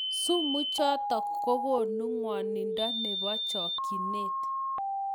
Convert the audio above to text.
Sumuu chotok kokonuu ngwanindo nepaa chakchineet